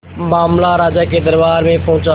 मामला राजा के दरबार में पहुंचा